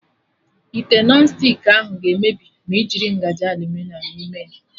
Ite Nọn stik ahụ ga-emebi ma ị jiri ngaji aluminiọm n'ime ya